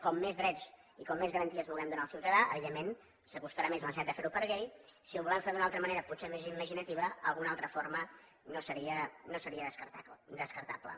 com més drets i com més garanties vulguem donar al ciutadà evidentment s’acostarà més a la necessitat de fer ho per llei si ho volem fer d’una altra manera potser més imaginativa alguna altra forma no seria descartable